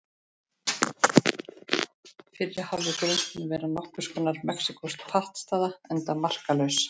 Fyrri hálfleikurinn mun vera nokkurs konar mexíkósk pattstaða og enda markalaus.